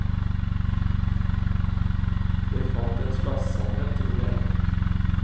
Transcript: Jeg fant en slags sannhet, tror jeg.